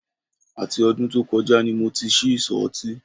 Àti ọdún tó kọjá ni mo ti ṣí ìsọ̀ ọtí